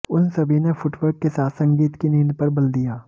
उन सभी ने फुटवर्क के साथ संगीत की नींद पर बल दिया